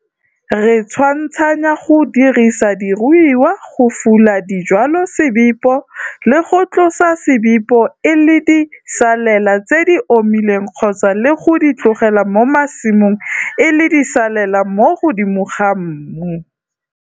Re tshwantshanya go dirisa diruiwa go fula dijwalosebipo le go tlosa sebipo e le disalela tse di omileng kgotsa le go di tlogela mo masimong e le disalela mo godimo ga mmu.